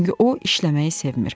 Çünki o işləməyi sevmir.